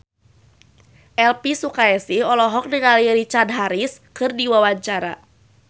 Elvy Sukaesih olohok ningali Richard Harris keur diwawancara